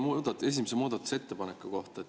Ma küsin meie esimese muudatusettepaneku kohta.